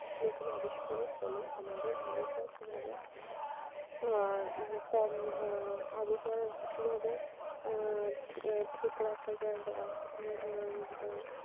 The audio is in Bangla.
নতুন আবিষ্কারের ফলে আমাদের আবহাওয়া কিভাবে আহ আর কি আহ আবহাওয়া কিভাবে আহ ঠিক রাখা যায় বা